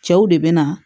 Cɛw de bɛ na